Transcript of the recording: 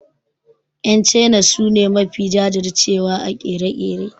Yan China su ne mafi jajir cewa a ƙere-ƙere.